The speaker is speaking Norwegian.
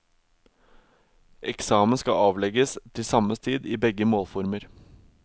Eksamen skal avlegges til samme tid i begge målformer.